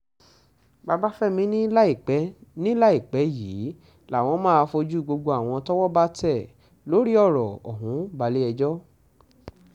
babafẹ́mi ni láìpẹ́ ni láìpẹ́ yìí làwọn máa fojú gbogbo àwọn tọ́wọ́ bá tẹ̀ lórí ọ̀rọ̀ ọ̀hún balẹ̀-ẹjọ́